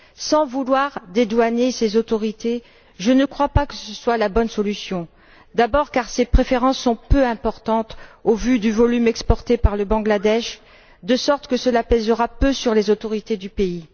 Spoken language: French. Sans vouloir dédouaner ces autorités, je ne crois pas que ce soit la bonne solution. D'abord parce que ces préférences sont peu importantes au vu du volume exporté par le Bangladesh, de sorte que cela pèsera peu sur les autorités du pays.